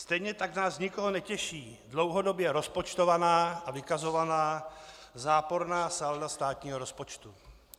Stejně tak nás nikoho netěší dlouhodobě rozpočtovaná a vykazovaná záporná salda státního rozpočtu.